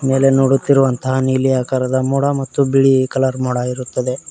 ಮೇಲೆ ನೋಡುತ್ತಿರುವಂತಹ ನೀಲಿ ಆಕಾರದ ಮೋಡ ಮತ್ತು ಬಿಳಿ ಕಲರ್ ಮೋಡ ಇರುತ್ತದೆ.